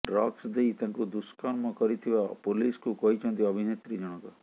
drugs ଦେଇ ତାଙ୍କୁ ଦୁଷ୍କର୍ମ କରିଥିବା ପୋଲିସକୁ କହିଛନ୍ତି ଅଭିନେତ୍ରୀ ଜଣକ